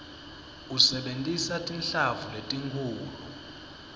usebentisa tinhlamvu letinkhulu